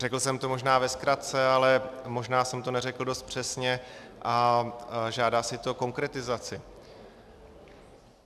Řekl jsem to možná ve zkratce, ale možná jsem to neřekl dost přesně a žádá si to konkretizaci.